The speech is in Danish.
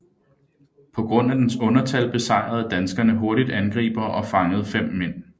På grund af dens undertal besejrede danskerne hurtigt angribere og fangede fem mænd